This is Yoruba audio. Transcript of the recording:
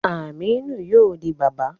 Aminu yóò di bàbà